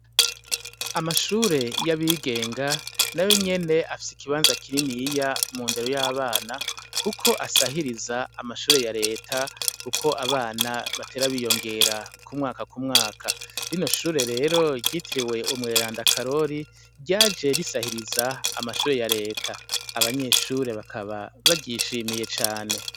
Amashure y'abigenga nayo nyene afise ikibanza kininiya mu ndero y'abana, kuko asahiriza amashure ya reta, kuko abana batera biyongera ku mwaka ku mwaka, rino shure rero ryitiriwe umweranda Karori, ryaje risahiriza amashure ya reta, abanyeshure bakaba baryishimye cane.